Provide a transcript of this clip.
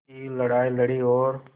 की लड़ाई लड़ी और